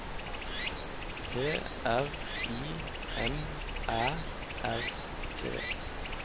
P R I M Æ R T